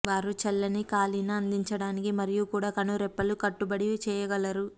వారు చల్లని కాలిన అందించడానికి మరియు కూడా కనురెప్పలు కట్టుబడి చేయగలరు